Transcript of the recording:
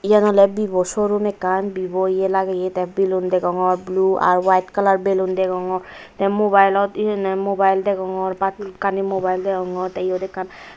iyan ole vivo showroom ekkan vivo iyo lageyi the balloon degongor blue r white colour balloon degongor the mobile ot he honne mobile degongor bhalokkani mobile degongor the iyot ekkan.